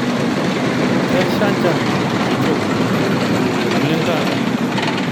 Keshaa njan kitok oleng taata